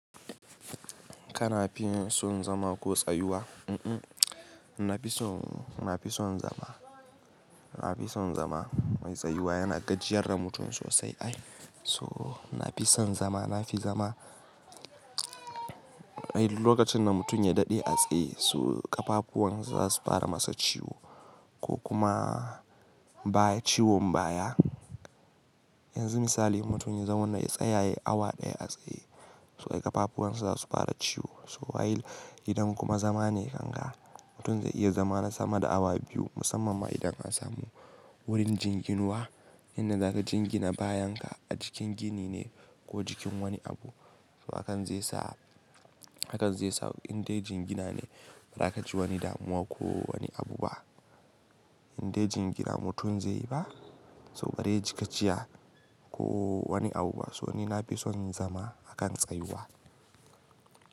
Kana fin son zama ko tsayuwa? Mm-mm na fi son, na fi son zama. Na fi son zama. Mai tsayuwa yana gajiyar da mutum sosai ai. So na fi son zama, na fi zama. Lokacin da mutum ya daɗe a tsaye so ƙapapuwan za su fara masa ciwo ko kuma ciwon baya. Yanzu misali mutum ya zauna ya tsaya ya yi awa ɗaya a tsaye so ƙapapuwan sa za su fara ciwo. So while idan kuma zama ne ganga mutum zai iya zama na sama da awa biyu musamman ma idan an samu wurin jinginuwa. Inda za ka jingina bayan ka a jikin gini ne ko jikin wani abu. So hakan zai sa, hakan zai sa indai jingina ne ba za ka ji wani damuwa ko wani abu ba. Indai jingina mutum zai yi ba so bare ji gajiya ko wani abu ba. So ni na fi son zama akan tsayuwa.